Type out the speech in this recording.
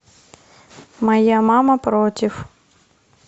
моя мама против